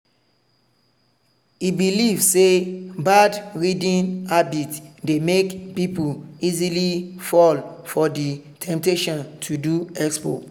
e believe say bad reading habit dey make people easily fall for the temptation to do expo.